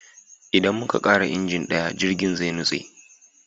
Idan muka kara injin daya, jirgin ruwa zai nutse